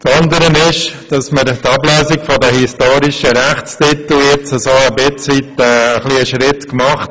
Weiter haben wir in Sachen Ablösung der historischen Rechtstitel einen Schritt vorwärts gemacht.